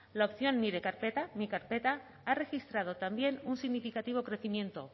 la opción nire carpeta mi carpeta ha registrado también un significativo crecimiento